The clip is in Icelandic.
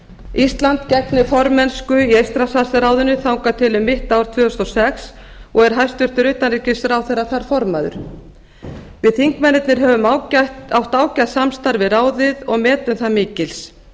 ísland gegnir formennsku í eystrasaltsráðinu þangað til um mitt ár tvö þúsund og sex og er hæstvirtur utanríkisráðherra þar formaður við þingmennirnir höfum átt ágætt samstarf við ráðið og metum það mikils